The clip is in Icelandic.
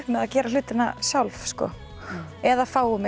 með að gera hlutina sjálf sko eða fáum